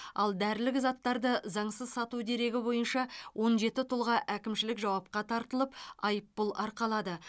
ал дәрілік заттарды заңсыз сату дерегі бойынша он жеті тұлға әкімшілік жауапқа тартылып айыппұл арқалады